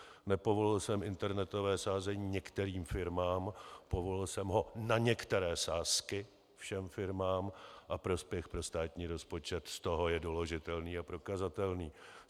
Nepovolil jsem internetové sázení některým firmám, povolil jsem ho na některé sázky všem firmám a prospěch pro státní rozpočet z toho je doložitelný a prokazatelný.